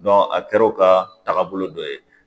a kɛr'o ka tagabolo dɔ ye